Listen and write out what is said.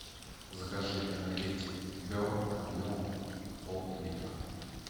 закажи энергетик берн объемом поллитра